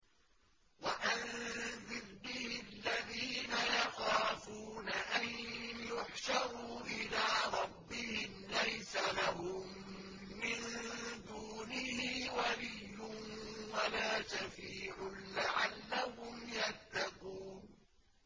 وَأَنذِرْ بِهِ الَّذِينَ يَخَافُونَ أَن يُحْشَرُوا إِلَىٰ رَبِّهِمْ ۙ لَيْسَ لَهُم مِّن دُونِهِ وَلِيٌّ وَلَا شَفِيعٌ لَّعَلَّهُمْ يَتَّقُونَ